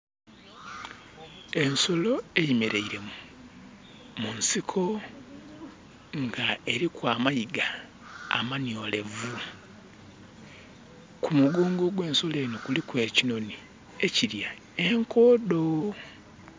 Ensolo eyemeraile mu nsiko, nga eriku amayiga amaniolevu kumugongo gwe nsolo enho kuliku ekinhonhi ekilya enkodho.